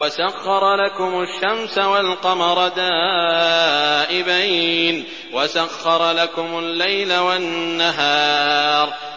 وَسَخَّرَ لَكُمُ الشَّمْسَ وَالْقَمَرَ دَائِبَيْنِ ۖ وَسَخَّرَ لَكُمُ اللَّيْلَ وَالنَّهَارَ